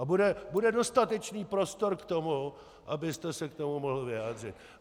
A bude dostatečný prostor k tomu, abyste se k tomu mohl vyjádřit.